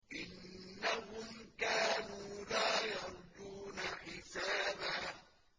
إِنَّهُمْ كَانُوا لَا يَرْجُونَ حِسَابًا